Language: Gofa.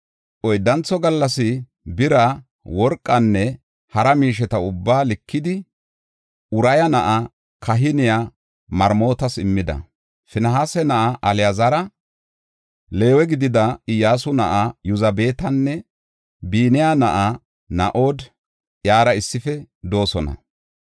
Oyddantho gallas bira, worqanne hara miisheta ubbaa likidi, Uraya na7aa kahiniya Maremootas immida. Finihaasa na7aa Alaazari, Leewe gidida Iyyasu na7aa Yozabaatinne Biniya na7a No7aadi iyara issife de7oosona.